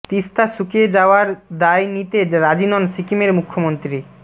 তিস্তা শুকিয়ে যাওয়ার দায় নিতে রাজি নন সিকিমের মুখ্যমন্ত্রী